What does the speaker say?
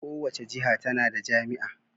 Kowace jiha tana da jami'a.